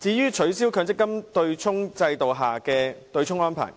至於取消強制性公積金制度下的對沖安排，